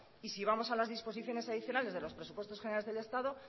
y si vamos a las disposiciones adicionales de los presupuestos generales del estado